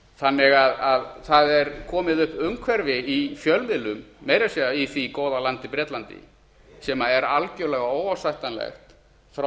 þannig að það er komið upp umhverfi í fjölmiðlum meira að segja í því góða landi bretlandi sem er algerlega óásættanlegt frá